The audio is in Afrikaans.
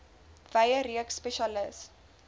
wye reeks spesialis